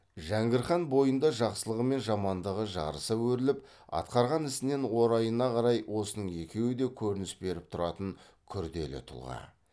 жәңгір хан бойында жақсылығы мен жамандығы жарыса өріліп атқарған ісінен орайына қарай осының екеуі де көрініс беріп тұратын күрделі тұлға